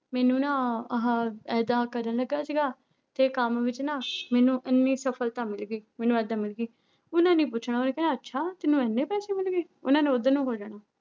ਮੈਨੂੰ ਨਾ ਆਹ ਏਦਾਂ ਕਰਨ ਲੱਗਾ ਸੀਗਾ ਤੇ ਕੰਮ ਵਿੱਚ ਨਾ ਮੈਨੂੰ ਇੰਨੀ ਸਫ਼ਲਤਾ ਮਿਲ ਗਈ, ਮੈਨੂੰ ਏਦਾਂ ਮਿਲ ਗਈ, ਉਹਨਾਂ ਨੇ ਪੁੱਛਣਾ ਉਹਨੇ ਕਹਿਣਾ ਅੱਛਾ, ਤੈਨੂੰ ਇੰਨੇ ਪੈਸੇ ਮਿਲ ਗਏ ਉਹਨਾਂ ਨੇ ਉੱਧਰ ਨੂੰ ਹੋ ਜਾਣਾ।